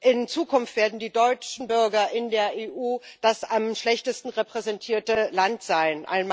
In Zukunft werden die deutschen Bürger in der EU das am schlechtesten repräsentierte Land sein.